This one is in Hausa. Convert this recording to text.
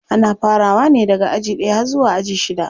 Ana farawa ne daga aji ɗaya har zuwa aji shida.